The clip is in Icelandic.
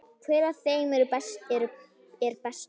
Hver af þeim er bestur?